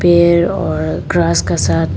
पेड़ और ग्रास का साथ --